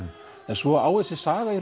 svo á þessi saga